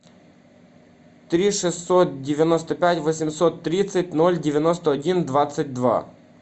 три шестьсот девяносто пять восемьсот тридцать ноль девяносто один двадцать два